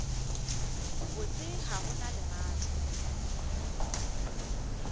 botse ga go na lerato